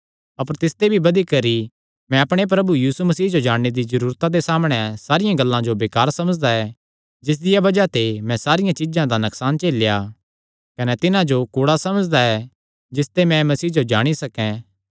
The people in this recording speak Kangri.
अपर तिसते भी बधी करी मैं अपणे प्रभु यीशु मसीह जो जाणने दी जरूरता दे सामणै सारियां गल्लां जो बेकार समझदा ऐ जिसदिया बज़ाह ते मैं सारियां चीज्जां दा नकसान झेलेया कने तिन्हां जो कूड़ा समझदा ऐ जिसते मैं मसीह जो जाणी सकैं